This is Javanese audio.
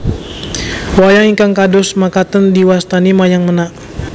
Wayang ingkang kados makaten diwastani Wayang Menak